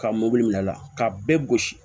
Ka mobili minɛ a la k'a bɛɛ gosi